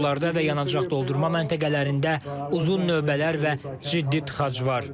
Yollarda və yanacaq doldurma məntəqələrində uzun növbələr və ciddi tıxac var.